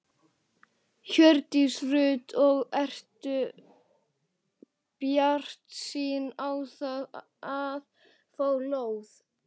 Hjördís Rut: Og ertu bjartsýnn á það að fá lóð?